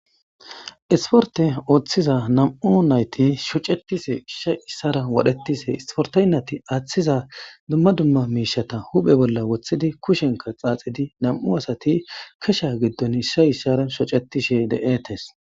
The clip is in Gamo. isporte ooththiza nam7u nayti shocetise ishsha issara wodhetise isportaynati aaththiza dumma dumma miishata huphe bolla woththidi kushenka xaaxidi nam7u asati kesha giddon ishsha isshara shocetishe de7etes